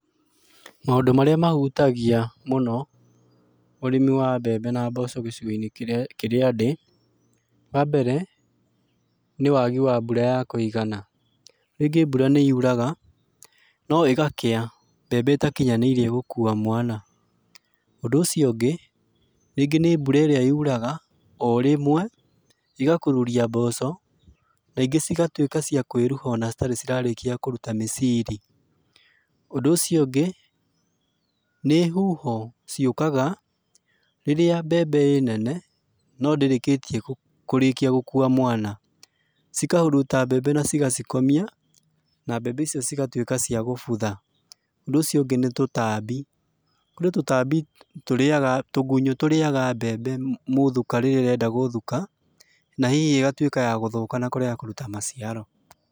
Maũndũ marĩa mahutagia mũno ũrĩmi wa mbembe na mboco gĩcigo-inĩ kĩrĩa ndĩ, wa mbere, ni wagi wa mbura ya kũigana, rĩngĩ mbura nĩ yuraga no ĩgakĩa mbembe ĩtakinyanĩirie gũkua mwana. Ũndũ ucio ũngĩ rĩngĩ nĩ mbura ĩrĩa yuraga o rĩmwe ĩgakururia mboco, na ingĩ cigatuika cia kũĩruha ona citarĩ irarĩkia kũruta miciri, ũndũ ũcio ũngĩ nĩ huho ciokaga rĩrĩa mbembe ĩnene no ndĩrĩkĩtie gũkua mwana cikahuruta mbembe na cigacikomia na mbembe icio cigatuĩka cia kubutha, ũndũ ũcio ũngĩ nĩ tũtambi, kũrĩ tũtambi tũrĩaga, tũgunyo tũriaga mbembe mũthuka rĩrĩa ĩrenda gũthuka na hihi ĩgatuĩka ya gũthũka na kũrega kũrũta maciaro.